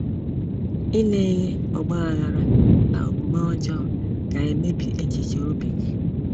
Ile ihe ọgbaghara na omume ọjọọ ga-emebi echiche obi gị.